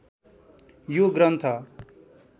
यो ग्रन्थ